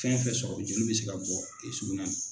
Fɛn fɛn sɔrɔ joli bɛ se ka bɔ i sugunɛ na.